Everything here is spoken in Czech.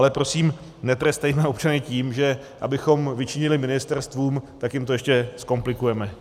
Ale prosím, netrestejme občany tím, že abychom vyčinili ministerstvům, tak jim to ještě zkomplikujeme.